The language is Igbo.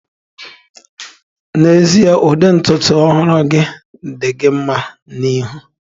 N'ezie, ụdị ntutu ọhụrụ gị di gị nma na ihu.